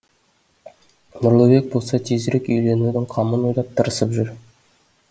нұрлыбек болса тезірек үйленудің қамын ойлап тырысып жүр